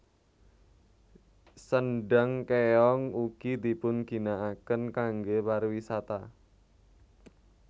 Sendhang Kéong ugi dipun ginakaken kangge pariwisata